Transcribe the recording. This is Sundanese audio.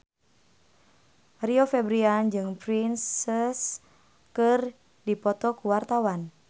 Rio Febrian jeung Prince keur dipoto ku wartawan